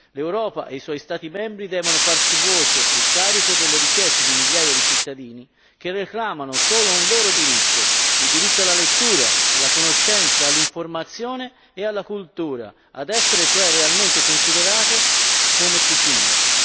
L'Europa e i suoi Stati membri devono farsi voce e carico delle richieste di migliaia di cittadini che reclamano solo un loro diritto il diritto alla lettura, alla conoscenza, all'informazione e alla cultura, ad essere cioè realmente considerate come tutti noi.